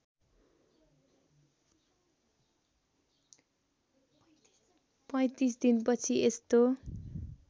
३५ दिनपछि यस्तो